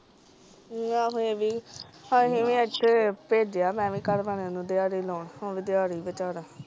ਆਹੋ ਇਹ ਵੀ ਆ ਅਸੀਂ ਵੀ ਅੱਜ ਬੇਜਿਯਾ ਮੈ ਵੀ ਘਰ ਵਾਲੇ ਨੂੰ ਦਿਹਾੜੀ ਲਾਉਣ ਉਹ ਵੀ ਦਿਹਾੜੀ ਵੀਚਾਰਾ